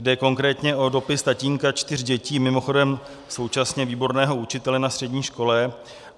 Jde konkrétně o dopis tatínka čtyř dětí, mimochodem současně výborného učitele na střední škole.